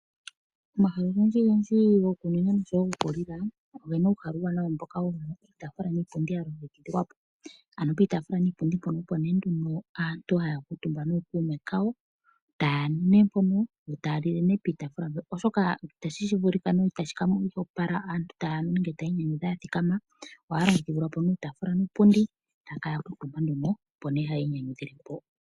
Omahala ogendji gendji gokunwina oshowo goku li la ogena uuhala uuwanawa mboka wuna iitaafula niipundi ya longekidhilwa po. Ano piitaafula niipundi mpono aantu opo nee haya kuutumba nookuume kawo taya nu nee mpono yo taya li le piitaafula mpoka oshoka itashi vulika sho ihashi monika nawa uuna aantu taya li nenge tayii nyanyudha ya thikama ohaya longekidhilwa nee uutaafula niipundi yo taya kala ya kuutumba nduno opo nee hayii nyanyudhile mpo.